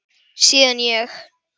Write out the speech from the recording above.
Síðan ég